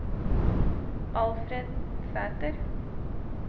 Alfred Sæther